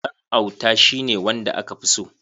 Ɗan auta shi ne wanda aka fi so.